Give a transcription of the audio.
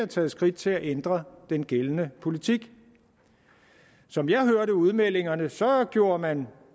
taget skridt til at ændre den gældende politik som jeg hørte udmeldingerne så gjorde man